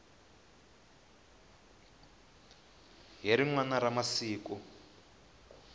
hi rin wana ra masiku